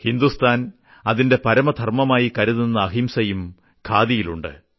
ഹിന്ദുസ്ഥാൻ അതിന്റെ പരമധർമ്മമായി കരുതുന്ന അഹിംസയും ഖാദിയിലുണ്ട്